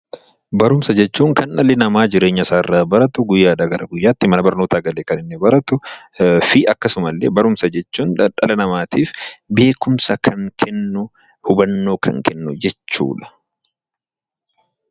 Barumsa jechuun kan dhalli namaa jireenya isaa irraa baratu, guyyaadhaa gara guyyaatti mana barnootaa galee kan inni baratu, fi akkasuma illee barumsa jechuun dhala namaatiif beekumsa kan kennu, hubannoo kan kennu jechuu dha.